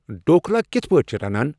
ڈوکھلا کِتھ پٲٹھۍ چِھ رنان ؟